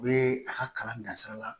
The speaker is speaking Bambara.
U bɛ a ka kalan dansira la